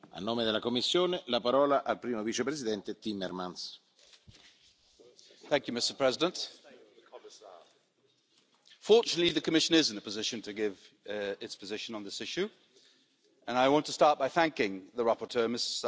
Mr President, fortunately, the Commission is in a position to give its position on this issue and I want to start by thanking the rapporteur, Ms Sargentini, for her engagement in preparing this report.